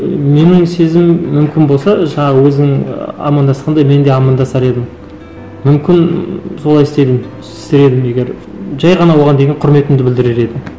ы менің сезімім мүмкін болса жаңа өзім ыыы амандасқанда мен де амандасар едім мүмкін солай істер едім егер жай ғана оған деген құрметімді білдірер едім